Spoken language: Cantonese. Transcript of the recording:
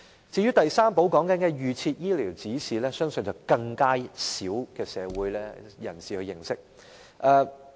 至於第三寶所說的預設醫療指示，相信更少社會人士認識。